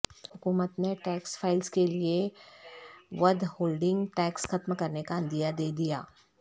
حکومت نے tax filers کیلئے ودہولڈنگ ٹیکس ختم کرنے کا عندیہ دیدیا